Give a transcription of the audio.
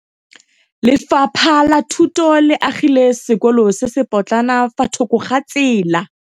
Lefapha la Thuto le agile sekôlô se se pôtlana fa thoko ga tsela.